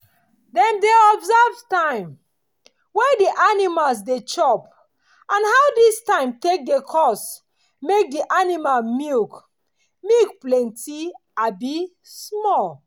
dem dey observe time wey di animals dey chop and how dis time take dey cause make di aninimal milk milk plenti abi small.